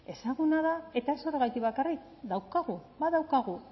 ezaguna da eta ez horregatik bakarrik daukagu badaukagu